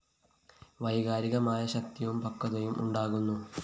വൈകാരികമായ ശക്തിയും പക്വതയും ഉണ്ടാകുന്നു